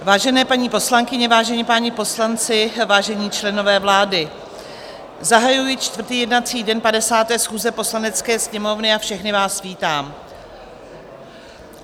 Vážené paní poslankyně, vážení páni poslanci, vážení členové vlády, zahajuji čtvrtý jednací den 50. schůze Poslanecké sněmovny a všechny vás vítám.